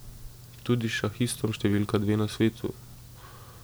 Tudi s šahistom številka dve na svetu.